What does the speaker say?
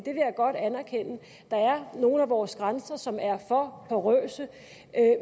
jeg godt anerkende der er nogle af vores grænser som er for porøse